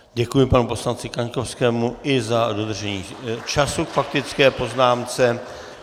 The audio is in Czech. Děkuji panu poslanci Kaňkovskému i za dodržení času k faktické poznámce.